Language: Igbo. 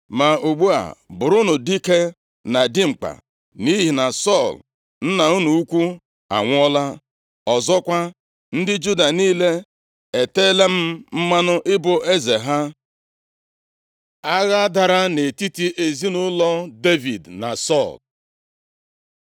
Ma ugbu a, bụrụnụ dike na dimkpa, nʼihi na Sọl nna unu ukwu anwụọla. Ọzọkwa, ndị Juda niile eteela m mmanụ ịbụ eze ha.” Agha dara nʼetiti ezinaụlọ Devid na Sọl